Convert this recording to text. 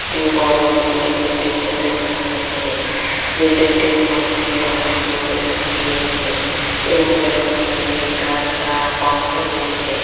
একটি বড়ো বিল্ডিং -এর দৃশ্য দেখানো হয়েছে বিল্ডিং -টির মধ্যে অনেকগুলো বেলকনি রয়েছে এবং বেলকনি গুলির দরজা বন্ধ রয়েছে।